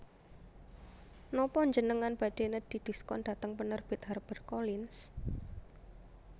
Nopo njenengan badhe nedhi diskon dhateng penerbit Harper Collins?